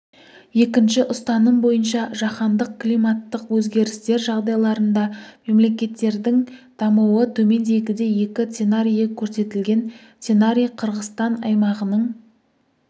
екінші ұстаным бойынша жаһандық климаттық өзгерістер жағдайларында мемлекеттердің дамуы төмендегідей екі сценарийі көрсетілген сценарий қырғызстан аймағының